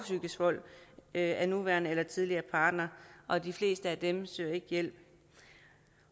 psykisk vold af en nuværende eller tidligere partner og de fleste af dem søger ikke hjælp